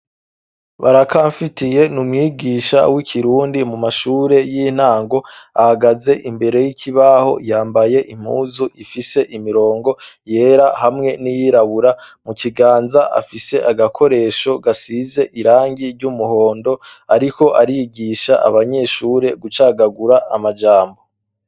Barakamfitiye ni umwigisha w'Ikirundi mu mashure y'intango ; ahagaze imbere y'ikibaho yambaye impuzu ifise imirongo yera hamwe n'iyirabura. Mu kiganza afise agakoresho gasize irangi ry'umuhondo . Ariko arigisha abanyeshure gucagagura amajambo.